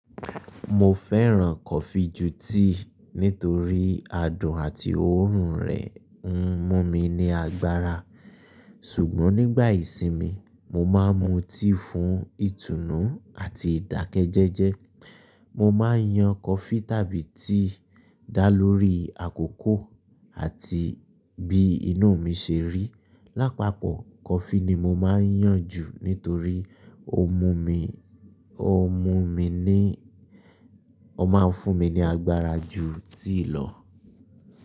Mo fẹ́ràn coffee ju tea nítorí adùn àti òórùn rẹ̀ ń mú mi ní agbára. Ṣùgbọ́n nígbà ìsinmi, mo máa ń mu tea fún ìtùnú àti ìdákẹ́jẹẹ́jẹ́. Mo máa ń yan coffee tàbí tea dá lórí àkókò àti bí inú mi ṣe rí. Lápapọ̀, coffee ni mo máa ń yàn jù nítorí ó mú mi, ó mú mi ní, ó máa ń fún mi ní agbára ju tea lọ.